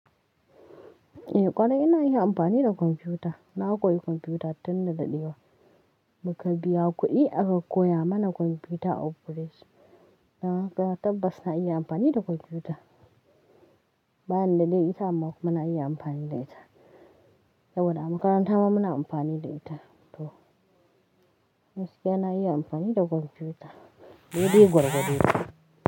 Eh ƙwarai ina iya amfani da kwamfuta. Na koyi kwamfuta tun na daɗewa. Mu ka biya kuɗi aka koya mana kwamfuta operation. Gaskiya tabbasa ina iya amfani da kwamfuta. Bayan da dai ita ma muna iya amfani da ita. Sabo da makaranta ma muna amfani da ita to, gaskiya na iya amfani da kwamfuta. Dedai gwargwado.